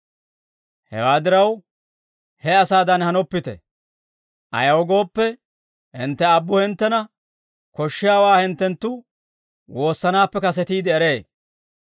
Hewaa diraw, he asaadan hanoppite; ayaw gooppe, hintte Aabbu hinttena koshshiyaawaa hinttenttu woossanaappe kasetiide eree.